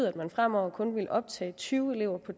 at man fremover kun vil optage tyve elever på